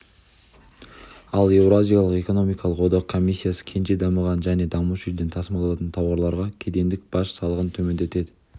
ал еуразиялық экономикалық одақ комиссиясы кенже дамыған және дамушы елден тасымалданатын тауарларға кедендік баж салығын төмендетеді